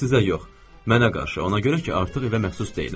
Sizə yox, mənə qarşı, ona görə ki, artıq evə məxsus deyiləm.